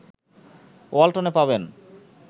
ওয়াল্টনে পাবেন